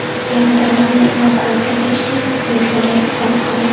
Yaradorlarni evakuatsiya qilishga vertolyot jalb qilindi.